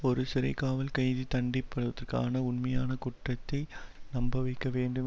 ஒரு சிறைக்காவல் கைதி தண்டிப்படுவதற்கான உண்மையான குற்றத்தை நம்பவைக்க வேண்டும்